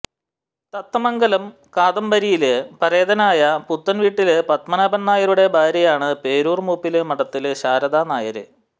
തത്തമംഗലം കാദംബരിയില് പരേതനായ പുത്തന്വീട്ടില് പത്മനാഭന് നായരുടെ ഭാര്യയാണ് പേരൂര് മൂപ്പില് മഠത്തില് ശാരദ നായര്